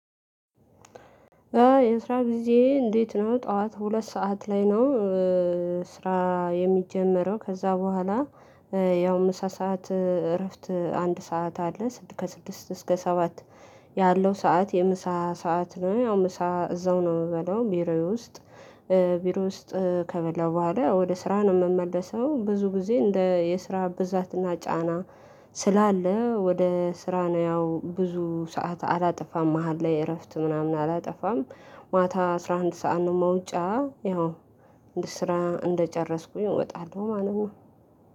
የስራ ጊዜ እንዴት ነው? ጠዋት ሁለት ሰዓት ላይ ነው ስራ የሚጀመረው። ከዛ በኋላ ያው ምሳ ሰዓት እረፍት አንድ ሰዓት አለ። ስድስት ከስድስት እስከ ሰባት ያለው ሰዓት የምሳ ሰዓት ነው። ያው ምሳ እዛው ነው የምበላው ቢሮዬ ውስጥ። ቢሮ ውስጥ ከበላው በኋላ ያው ወደ ስራ ነው የምመለሰው። ብዙ ጊዜ እንደ የስራ ብዛትና ጫና ስላለ ወደ ስራ ነው ያው ብዙ ሰዓት አላጠፋም። መሃል ላይ እረፍት ምናምን አላጠፋም። ማታ አስራ አንድ ሰዓት ነው መውጫ። ያው ስራ እንደጨረስኩኝ እወጣለሁ ማለት ነው።